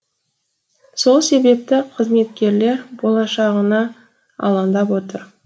сол себепті қызметкерлер болашағына алаңдап отыр